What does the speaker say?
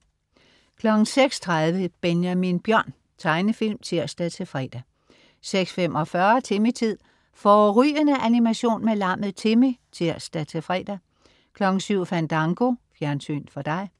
06.30 Benjamin Bjørn. Tegnefilm (tirs-fre) 06.45 Timmy-tid. Fårrygende animation med lammet Timmy (tirs-fre) 07.00 Fandango. Fjernsyn for dig